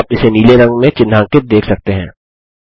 आप इसे नीले रंग में चिन्हांकित देख सकते हैं